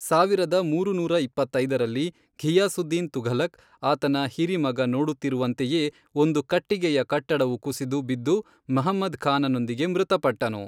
ಸಾವಿರದ ಮೂರುನೂರ ಇಪ್ಪತ್ತೈದರಲ್ಲಿ, ಘಿಯಾಸುದ್ದೀನ್ ತುಘಲಕ್, ಆತನ ಹಿರಿ ಮಗ ನೋಡುತ್ತಿರುವಂತೆಯೇ ಒಂದು ಕಟ್ಟಿಗೆಯ ಕಟ್ಟಡವು ಕುಸಿದು ಬಿದ್ದು ಮಹಮ್ಮದ್ ಖಾನನೊಂದಿಗೆ ಮೃತಪಟ್ಟನು.